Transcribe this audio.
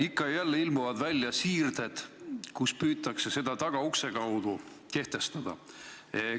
Ikka ja jälle ilmuvad välja siirded, mille abil püütakse seda tagaukse kaudu kehtestada.